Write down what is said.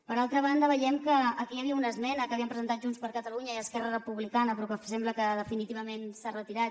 per altra banda veiem que aquí hi havia una esmena que havien presentat junts per catalunya i esquerra republicana però que sembla que definitivament s’ha retirat